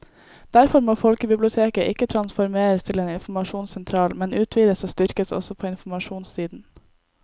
Derfor må folkebiblioteket ikke transformeres til en informasjonssentral, men utvides og styrkes også på informasjonssiden.